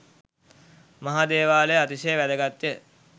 මහා දේවාලය අතිශය වැදගත්ය.